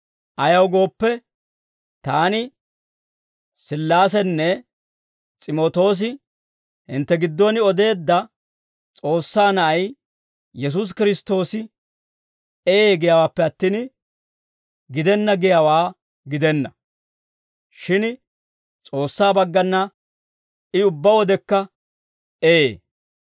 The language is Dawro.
Ayaw gooppe, taani, Sillaasenne S'imootoosi hintte giddon odeedda S'oossaa Na'ay, Yesuusi Kiristtoosi «Ee» giyaawaappe attin, «Gidenna» giyaawaa gidenna. Shin S'oossaa baggana I ubbaa wodekka «Ee».